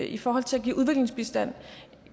i forhold til at give udviklingsbistand